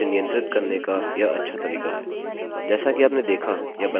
यदि आप अपने वेब सर्वर में बड़ी फाइल्स नहीं चाहते हैं तो इसे नियंत्रित करने का यह अच्छा तरीका है